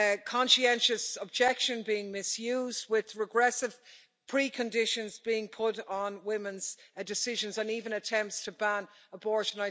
conscientious objection being misused, with regressive preconditions being put on women's decisions, and even attempts to ban abortion.